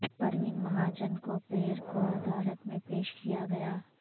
پروین مہاجن کو پیر کو عدالت میں پیش کیا گیا